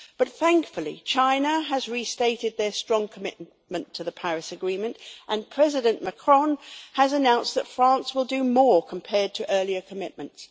But, thankfully, China has restated their strong commitment to the Paris Agreement and President Macron has announced that France will do more compared to earlier commitments.